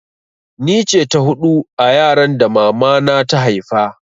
Ni ce ta hudu a yaran da mama na ta haifa